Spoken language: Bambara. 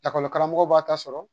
Lakɔli karamɔgɔw b'a ta sɔrɔ